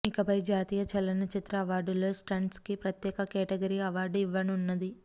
ఇకపై జాతీయ చలనచిత్ర అవార్డులలో స్టంట్స్ కి ప్రత్యేక కేటగిరీ అవార్డు ఇవ్వనున్నది